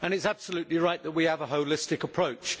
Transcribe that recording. It is absolutely right that we have a holistic approach.